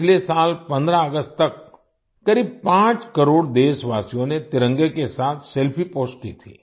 पिछले साल 15 अगस्त तक करीब 5 करोड़ देशवासियों ने तिरंगे के साथ सेल्फी पोस्ट की थी